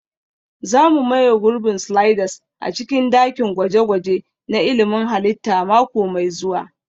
Za mu maye gurbin sliders a cikin dakin gwaje-gwaje na ilmin halitta mako mai zuwa